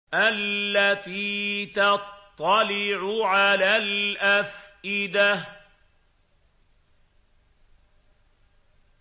الَّتِي تَطَّلِعُ عَلَى الْأَفْئِدَةِ